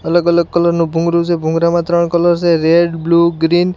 અલગ-અલગ કલર નું ભૂંગળું છે ભુંગળા માં ત્રણ કલર છે રેડ બ્લુ ગ્રીન .